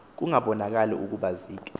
kungabonakali ukuba zikhe